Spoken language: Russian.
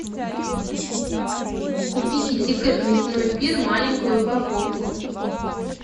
купи китикет мясной пир маленькую упаковку